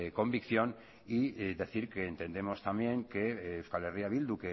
convicción y decir que entendemos también que euskal herria bildu